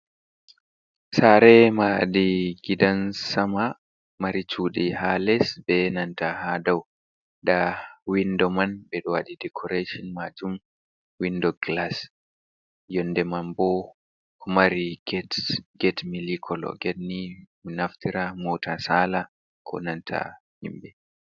Sare mahadi gidan sama mari cuɗi ha les, be nanta ha dau, nda windo man ɓeɗo waɗi decoration majum windo glass, yonde man boo mari get mili kolo getni mi naftira mota sala ko nanta himɓɓe.